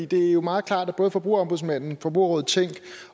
det er jo meget klart at både forbrugerombudsmanden forbrugerrådet tænk